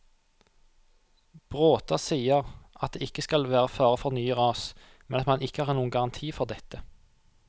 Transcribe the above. Bråta sier at det ikke skal være fare for nye ras, men at man ikke har noen garanti for dette.